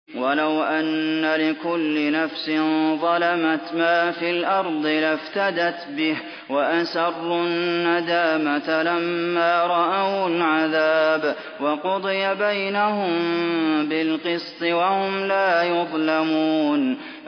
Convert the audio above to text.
وَلَوْ أَنَّ لِكُلِّ نَفْسٍ ظَلَمَتْ مَا فِي الْأَرْضِ لَافْتَدَتْ بِهِ ۗ وَأَسَرُّوا النَّدَامَةَ لَمَّا رَأَوُا الْعَذَابَ ۖ وَقُضِيَ بَيْنَهُم بِالْقِسْطِ ۚ وَهُمْ لَا يُظْلَمُونَ